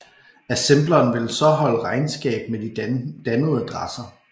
Assembleren vil så holde regnskab med de dannede adresser